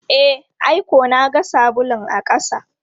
E, ai ko na ga sabulun a ƙasa.